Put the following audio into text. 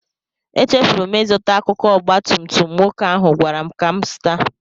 Echefuru m ịzụta akụkụ ọgba tum tum nwoke ahụ gwara m ka m zụta